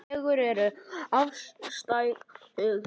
Fegurð er afstætt hugtak.